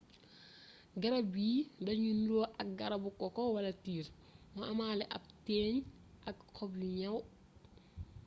garab yii dañuy nuru ak ay garabu koko wala tiir mu amaale ab téeñ ak xob yu ñaw